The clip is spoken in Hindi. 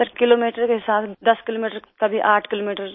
सर किलोमीटर का हिसाब 10 किलोमीटर कभी 8 किलोमीटर